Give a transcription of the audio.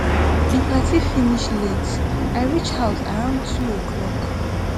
di party finish late i reach house around 2 oclock